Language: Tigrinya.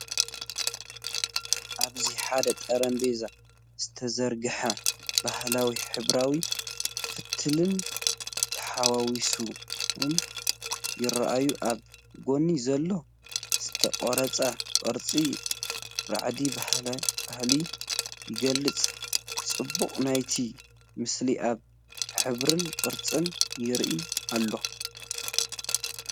ኣብዚ ሓደ ጠረጴዛ ዝተዘርግሐ ባህላዊን ሕብራዊ ፈትልን ተሓዋዊሶም ይረኣዩ። ኣብ ጎኑ ዘሎ ዝተቐርጸ ቅርጺ ራዕዲ ባህሊ ይገልጽ፤ ጽባቐ ናይቲ ምስሊ ኣብ ሕብርን ቅርጹን ይርአ ኣሎ።